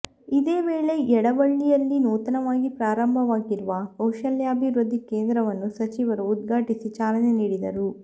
ಇದೇ ವೇಳೆ ಯಡಳ್ಳಿಯಲ್ಲಿ ನೂತನವಾಗಿ ಪ್ರಾರಂಭವಾಗಿರುವ ಕೌಶಲ್ಯಾಭಿವೃದ್ಧಿ ಕೇಂದ್ರವನ್ನು ಸಚಿವರು ಉದ್ಘಾಟಿಸಿ ಚಾಲನೆ ನೀಡಿದರು